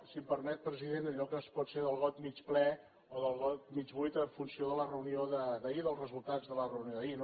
si em permet president allò que pot ser del got mig ple o del got mig buit en funció de la reunió d’ahir dels resultats de la reunió d’ahir